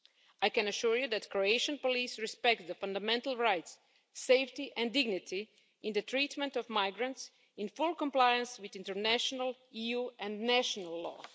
I can assure you that Croatian police respect the fundamental rights, safety and dignity in the treatment of migrants in full compliance with international, EU and national law.